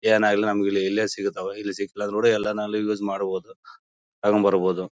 ಏನಾಗಲಿ ನಮಗೆ ಇಲ್ಲೇ ಸಿಗುತ್ತವೆ ಇಲ್ಲಿ ಸಿಕ್ಲಿಲ್ಲ ಅಂದ್ರು ಎಲ್ಲ ನಾಳೆ ಯೂಸ್ ಮಾಡಬೋದು ತಗೊಂಬರ್ಬೋದು.